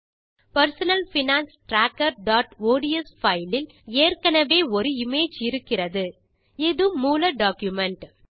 personal finance trackerஒட்ஸ் file இல் ஏற்கெனெவே ஒரு இமேஜ் இருக்கிறது இது மூல டாக்குமென்ட்